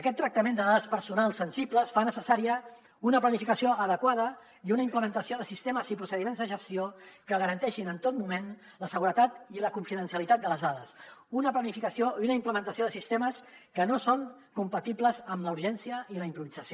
aquest tractament de dades personals sensibles fa necessària una planificació adequada i una implementació de sistemes i procediments de gestió que garanteixin en tot moment la seguretat i la confidencialitat de les dades una planificació i una implementació de sistemes que no són compatibles amb la urgència i la improvisació